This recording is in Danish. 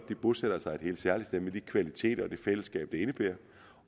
de bosætter sig et helt særligt sted med de kvaliteter og det fællesskab det indebærer